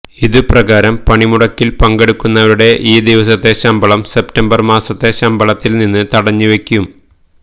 ഇതുപ്രകാരം പണിമുടക്കില് പങ്കെടുക്കുന്നവരുടെ ഈ ദിവസത്തെ ശമ്പളം സെപ്റ്റംബര് മാസത്തെ ശമ്പളത്തില് നിന്ന് തടഞ്ഞുവെയ്ക്കും